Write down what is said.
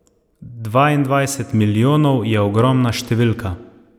Dvaindvajset milijonov je ogromna številka.